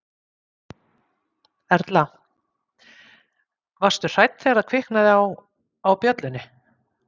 Erla: Varstu hrædd þegar það kviknaði á, á bjöllunni?